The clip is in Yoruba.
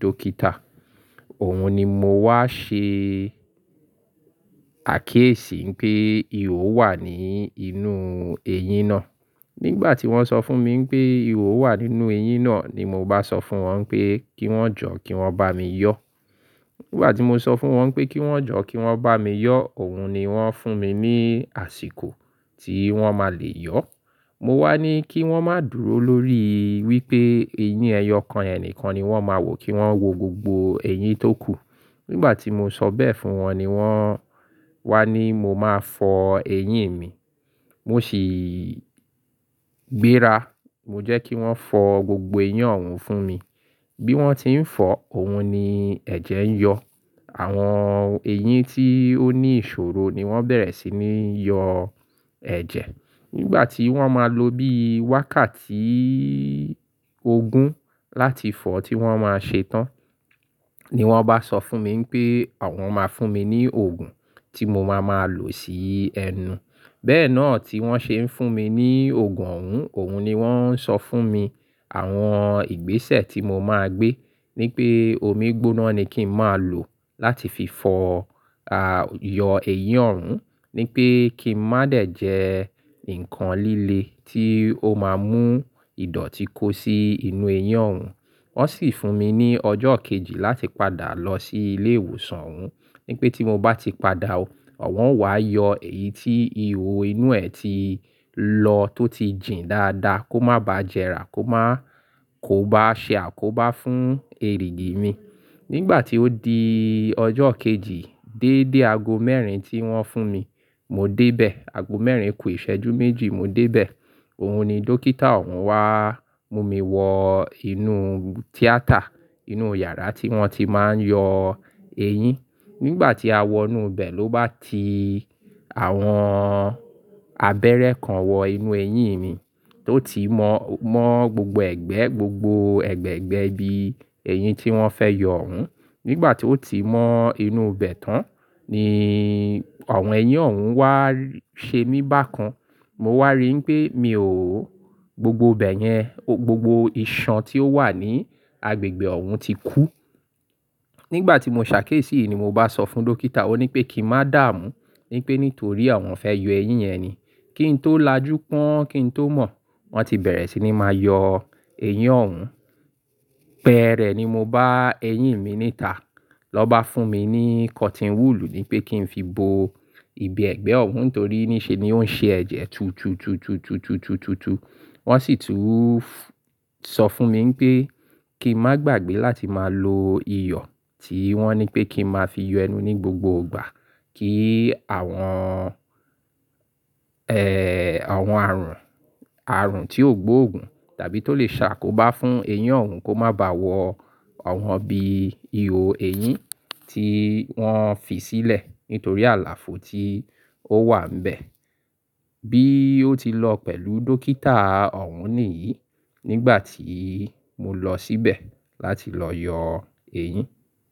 dókítà. Òhun ni mo wá ṣe àkiyésí wipé ihò wà ní inú eyín náà. Nígbà tí wọ́n sọ fún mi pé ihò wà nínú eyín náà ni mo bá sọ fún wọn pé kí wọ́n jọ́ kí wọ́n bá mi yọ̀. Nígbà tí mo sọ fún wọn pé kí wọ́n jọ́ kí wọ́n bá mi yọ̀, òhun ni wọ́n fún mi ní àsìkò tí wọ́n máa le yọ̀. Mo wá ní kí wọ́n má dùró lórí wípé eyín ẹyọ kan yẹn nìkan ni wọ́n máa wò, kí wọ́n wo gbogbo eyín tó kù. Nígbà tí mo sọ bẹ́ẹ̀ fún wọn ni wọ́n wá ní mo máa fọ eyín mi. Mo sì gbéra, mo jẹ́ kí wọ́n fọ gbogbo eyín ọ̀hún fún mi. Bí wọ́n ti ń fọ̀, òhun ni ẹ̀jẹ̀ ń yọ̀. Àwọn eyín tí ó ní ìṣòro ni wọ́n bẹ̀rẹ̀ sí ní yọ ẹ̀jẹ̀. Nígbà tí wọ́n máa lo bí wákàtí ogún láti fọ tí wọ́n máa ṣe tán ni wọ́n bá sọ fún mi pé àwọn máa fún mi ní òògùn tí mo máa máa lò sí ẹnu. Bẹ́ẹ̀ náà tí wọ́n ṣe ń fún mi ní òògùn ọ̀hún, òhun ni wọ́n ń sọ fún mi àwọn ìgbésẹ̀ tí mo máa gbé. Nípé omi gbóná ni kí n má lò láti fi fọ à, yọ eyín ọ̀hún. Nípé kí n má dẹ̀ jẹ nǹkan líle tí ó máa mú ìdọ̀tí kó sí inú eyín ọ̀hún. Wọ́n sì fún mi ní ọjọ́ kejì láti padà lọ sí ilé ìwòsàn ọ̀hún. Nípé tí mo bá ti padà, awọ́n o wàá yọ èyí tí ihò inú ẹ̀ ti lọ tó ti jìn dáadáa kó má bá jẹrà kó má, kó bá ṣe àkóbá fún erìgì mi. Nígbà tí ó di ọjọ́ kejì dédé ago mẹ́rin tí wọ́n fún mi, mo dé bẹ̀. Ago mẹ́rin kù ìṣẹ́jú méjì mo dé bẹ̀. Òhun ni dókítà ọ̀hún wá mú mi wọ inú tíátà, inú yàrá tí wọ́n ti máa ń yọ eyín. Nígbà tí a wọ inú bẹ̀ ló bá ti àwọn abẹ́rẹ́ kan wọ inú eyín mi tó ti mọ, mọ gbogbo ẹ̀gbẹ́ gbogbo ẹ̀gbẹ́ ẹgbẹ́ ibi eyín tí wọ́n fẹ́ yọ ọ̀hún. Nígbà tí ó ti mọ inú bẹ̀ tán ni àwọn eyín ọ̀hún wá ṣe mí bákan. Mo wá rí pé mi ò, gbogbo ibẹ̀ yẹn, gbogbo iṣan tí ó wà ní agbègbè ọ̀hún ti kú. Nígbà tí mo ṣàkésí ni mo bá sọ fún dókítà, ó ní pé kí n má dààmú, nípé nítorí àwọn fẹ́ yọ eyín yẹn ni. Kí n tó lajú pọ́n, kí n tó mọ̀, wọ́n ti bẹ̀rẹ̀ sí ní máa yọ eyín ọ̀hún. Bẹ̀ẹ́rẹ̀ ni mo bá eyín mi níta lọ bá fún mi ní cotton wool ní pé kí n fi bo ibi ẹ̀gbẹ́ ọ̀hún nitorí níṣe ni ó ń ṣe ẹ̀jẹ̀ tutututututututu. Wọ́n sì tún sọ fún mi pé kí n má gbàgbé láti máa lo iyọ̀ tí wọ́n ní pé kí n máa fi yọ ẹnu ní gbogbo ìgbà kí àwọn, ẹ́, àwọn àrùn, àrùn tí ó gbóògùn tàbí tó lè ṣàkóbá fún eyín ọ̀hún kó má bá wọ àwọn ibi ihò eyín tí wọ́n fi sílẹ̀ nítorí àlàfo tí ó wà nbẹ̀. Bí ó ti lọ pẹ̀lú dókítà ọ̀hún nìyí nígbà tí mo lọ síbẹ̀ láti lọ yọ eyín.